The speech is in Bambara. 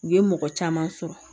U ye mɔgɔ caman sɔrɔ